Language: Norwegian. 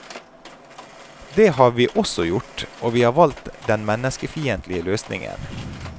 Det har vi også gjort, og vi har valgt den menneskefiendtlige løsningen.